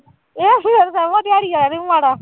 ਦਿਹਾੜੀ ਵਾਲਾ ਨੀ ਮਾੜਾ